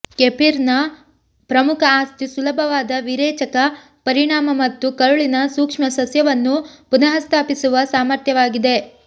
ಕೆಫಿರ್ನ ಪ್ರಮುಖ ಆಸ್ತಿ ಸುಲಭವಾದ ವಿರೇಚಕ ಪರಿಣಾಮ ಮತ್ತು ಕರುಳಿನ ಸೂಕ್ಷ್ಮಸಸ್ಯವನ್ನು ಪುನಃಸ್ಥಾಪಿಸುವ ಸಾಮರ್ಥ್ಯವಾಗಿದೆ